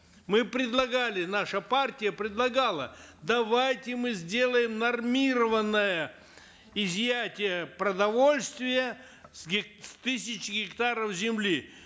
мы предлагали наша партия предлагала давайте мы сделаем нормированное изъятие продовольствия с с тысяч гектаров земли